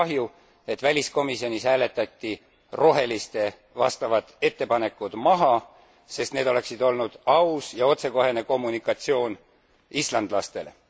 Ja mul on kahju, et väliskomisjonis hääletati roheliste vastavad ettepanekud maha, sest need oleksid olnud aus ja otsekohene kommunikatsioon islandlastele.